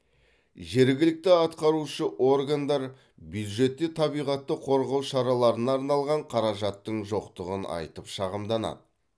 жергілікті атқарушы органдар бюджетте табиғатты қорғау шараларына арналған қаражаттың жоқтығын айтып шағымданады